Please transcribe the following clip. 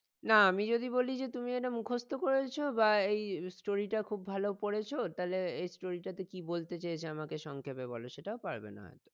না আমি যদি বলি যে তুমি এটা মুখস্ত করেছ বা এই story টা খুব ভালো পড়েছ তালে এই story টাতে কি বলতে চেয়েছে আমাকে সংক্ষেপে বলো সেটাও পারবে না